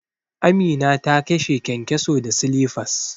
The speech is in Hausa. Amina ta kashe kyankyaso da silifas.